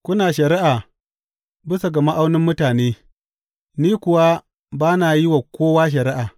Kuna shari’a bisa ga ma’aunin mutane; ni kuwa ba na yin wa kowa shari’a.